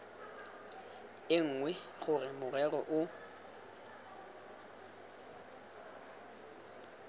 e nngwe gore morero o